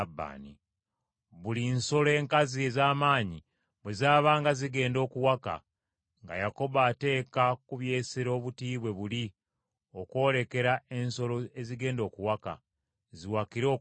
Buli nsolo enkazi ez’amaanyi bwe zaabanga zigenda okuwaka nga Yakobo ateeka ku by’esero obuti bwe buli okwolekera ensolo ezigenda okuwaka, ziwakire okumpi nabwo.